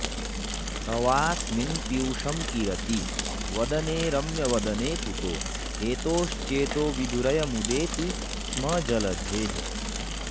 तवास्मिन्पीयूषं किरति वदने रम्यवदने कुतो हेतोश्चेतोविधुरयमुदेति स्म जलधेः